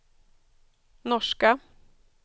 norska